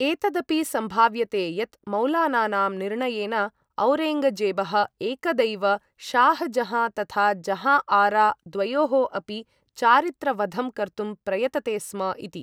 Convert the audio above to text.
एतदपि सम्भाव्यते यत्, मौलानानां निर्णयेन औरेङ्गजेबः एकदैव शाह् जहाँ तथा जहाँ आरा द्वयोः अपि चारित्रवधं कर्तुं प्रयतते स्म इति।